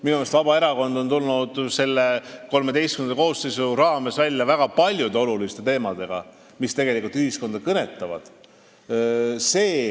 Minu meelest on Vabaerakond tulnud XIII koosseisus välja väga paljude oluliste teemadega, mis tegelikult ühiskonda kõnetavad.